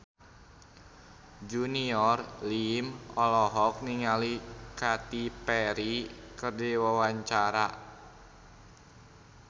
Junior Liem olohok ningali Katy Perry keur diwawancara